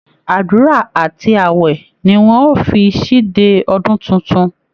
Àdúra àti ààwẹ̀ ni wọn ó fi ṣíde ọdún tuntun